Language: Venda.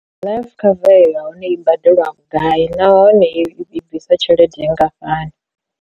Life cover iyo ya hone i badeliwa vhugai nahone i bvisa tshelede nngafhani.